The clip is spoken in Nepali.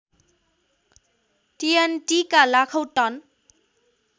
टिएनटिका लाखौँ टन